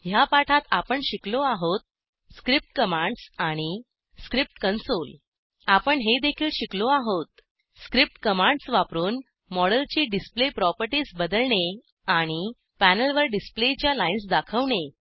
ह्या पाठात आपण शिकलो आहोत स्क्रिप्ट कमांड्स आणि स्क्रिप्ट कंसोल आपण हेदेखील शिकलो आहोत स्क्रिप्ट कमांड्स वापरून मॉडेलची डिसप्ले प्रॉपर्टीस बदलणे आणि पॅनलवर डिसप्लेच्या लाईन्स दाखवणे